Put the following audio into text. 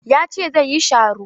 Ya ce zai yi sharo.